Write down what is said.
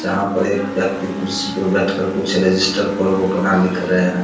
जहाँ पर एक व्यक्ति कुर्सी पे बैठकर कुछ रजिस्टर पर वो अपना लिख रहे हैं।